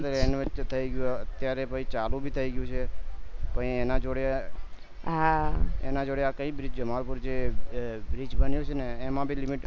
renovate તો થય ગયું અત્યારે પછી ચાલુ ભી થય ગયું છે તો એના જોડે એના જોડે આ કય bridge છે એ bridge ભી બન્યું છે